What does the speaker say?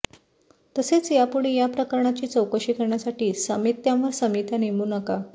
तसेच यापुढे या प्रकरणाची चौकशी करण्यासाठी समित्यांवर समित्या नेमू नका